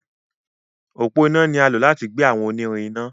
Ọpọ iná ní a lò láti gbé àwọn onírin iná.